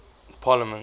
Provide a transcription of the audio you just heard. parliament